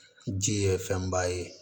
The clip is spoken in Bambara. Ji ye fɛnba ye